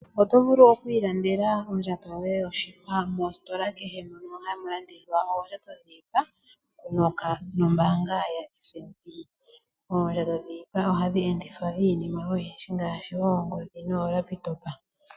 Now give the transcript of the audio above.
Oto vulu okwiilandela ondjato yoye yoshipa mositola kehe mono hamulandithwa oondjato dhiipa nombaanga yaFNB. Oondjato dhiipa ohadhi endithwa iinima oyindji ngaashi oongodhi noolakitopa.